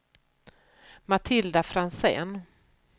Matilda Franzén